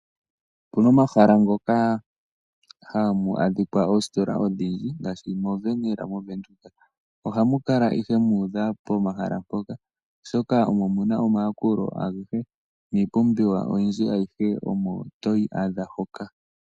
Opuna omahala ngoka hamu adhika oositola odhindji ngaashi mo Wernhill moVenduka. Ohamu ihe muudha pomahala mpoka oshoka omo muna omayakulo agehe niipumbiwa oyindji ayihe omo toyi adha moka.